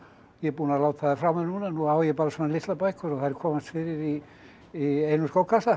ég er búinn að láta þær frá mér nú á ég bara svona litlar bækur og þær komast fyrir í í einum skókassa